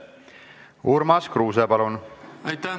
Urmas Kruuse, palun!